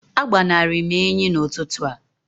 agbanari m enyi n'ụtụtụ a